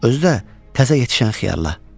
Özü də təzə yetişən xiyarla.